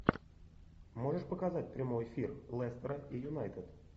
можешь показать прямой эфир лестера и юнайтед